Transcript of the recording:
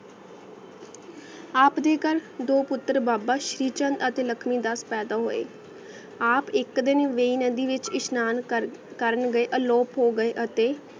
ਆਪ ਦੇ ਕਰ ਦੋ ਪੁਟਰ ਬਾਬਾ ਸ਼੍ਰੀ ਚੰਦ ਅਤੀ ਲਾਕ਼ਮੀ ਦਸ ਪੈਦਾ ਹੋਯ ਆਪ ਇਕ ਦਿਨ ਵੀ ਨਦੀ ਵਿਚ ਏਇਸ੍ਹ੍ਨਨ ਕਰ ਕਰਨ ਗੇ ਆ ਲੋਪ ਹੋ ਗਾ ਆਯ ਅਤੀ